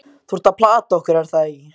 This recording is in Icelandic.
Þú ert að plata okkur, er það ekki?